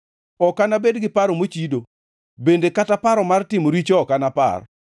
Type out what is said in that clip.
Ok anabed gi paro mochido; bende kata paro mar timo richo ok anapar.